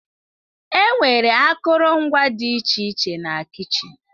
Enwere akụrụngwa dị iche iche na kichin.